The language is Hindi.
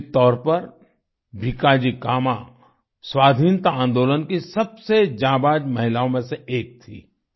निश्चित तौर पर भीकाजी कामा स्वाधीनता आंदोलन की सबसे जांबांज महिलाओं में से एक थी